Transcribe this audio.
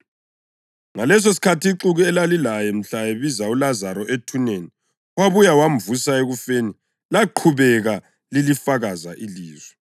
Ngalesosikhathi ixuku elalilaye mhla ebiza uLazaro ethuneni wabuye wamvusa ekufeni laqhubeka lilifakaza ilizwi.